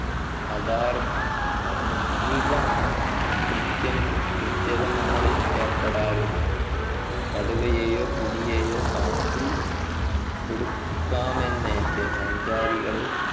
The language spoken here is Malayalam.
അധാർ മിക കൃത്യങ് കൃത്യതങ്ങളിൽ ഏർപ്പെടാറുണ്ട് കടുവയെയൊ പുലിയേയോ കാട്ടിൽ കൊടുക്കാമെന്നേറ്റ് സഞ്ചാരികളെ